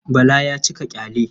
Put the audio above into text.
Bala ya cika ƙyale.